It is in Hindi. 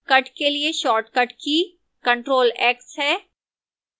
cut के लिए shortcut की ctrl + x है